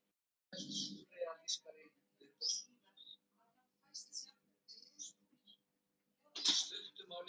Og það kemur upp úr dúrnum síðar að hann fæst sjálfur við ljóðasmíðar.